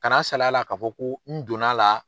Kana salay'a la k'a fɔ ko n donn'a la